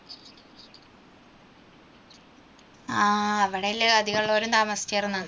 ആ അവിടെയല്ലേ അധികം ഉള്ളോരും താമസിച്ചിരുന്നത്.